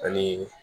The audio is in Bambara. Ani